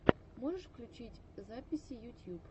можешь включить записи ютьюб